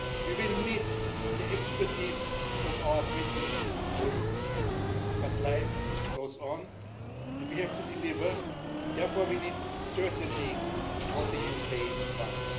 We will miss the expertise of our British colleagues, but life goes on and we have to deliver therefore we need certainty on what the UK wants.